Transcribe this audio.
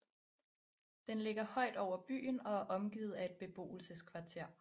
Den ligger højt over byen og er omgivet af et beboelseskvarter